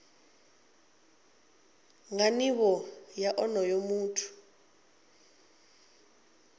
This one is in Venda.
nga nivho ya onoyo muthu